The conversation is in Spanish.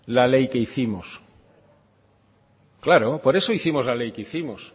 la ley que hicimos claro por eso hicimos la ley que hicimos